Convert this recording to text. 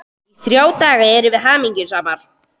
Í þrjá daga erum við hamingjusamar.